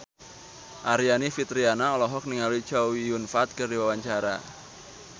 Aryani Fitriana olohok ningali Chow Yun Fat keur diwawancara